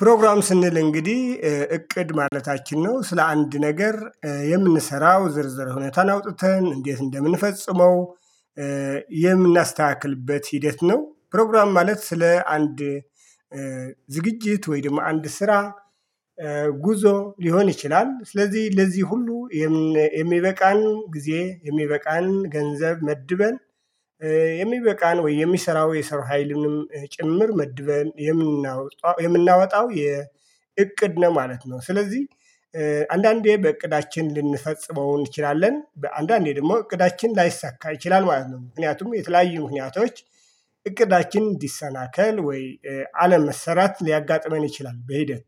ፕሮግራም ስንል እንግዲህ እቅድ ማለታችን ነው ስለ አንድ ነገር የምንሰራው ዝርዝር ሁኔታን አውጥተን እንዴት እንደምንፈጽመው የምናስተካክልበት ሂደት ነው። ፕሮግራም ማለት ስለ አንድ ዝግጅት ወይንም አንድ ስራ ጉዞ ሊሆን ይችላል ስለዚህ ለዚህ ሁሉ የሚበቃን ጊዜ የሚበቃን ገንዘብ መድበን የሚበቃን ወይ የሚሰራው የሰው ሀይልንም ጭምር መድበን የምናወጣው የእቅድ ነው ማለት ነው። ስለዚህ አንዳንዴ በእቅዳችን ልንፈጽመው እንችላለን አንዳንዴ ደግሞ እቅዳችን ላይሳካ ይችላል ማለት ነው። ምክንያቱም የተለያዩ ምክንያቶች እቅዳችን እንዲሰናከል ወይ አለም መሰራት ሊያጋጥመን ይችላል። በሂደት